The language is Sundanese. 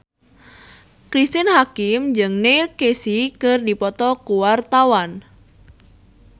Cristine Hakim jeung Neil Casey keur dipoto ku wartawan